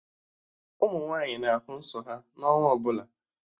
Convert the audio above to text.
Ụmụ nwaanyị na-ahụ nsọ ha n'ọnwa ọbụla